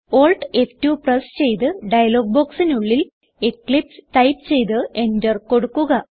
Alt F two press ചെയ്ത് dialogue ബോക്സിനുള്ളിൽ Eclipse type ചെയ്ത് എന്റർ കൊടുക്കുക